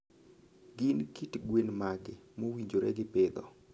Gin kit gwen mage mowinjore gi pidho?